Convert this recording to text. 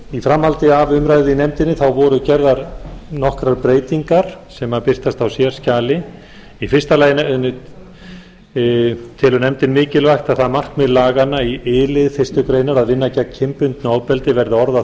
í framhaldi af umræðu í nefndinni voru gerðar nokkrar breytingar sem birtast á sérskjali í fyrsta lagi telur nefndin mikilvægt það markmið laganna í eitt lið fyrstu grein að vinna gegn kynbundnu ofbeldi verði orðað